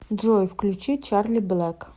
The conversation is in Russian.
джой включи чарли блэк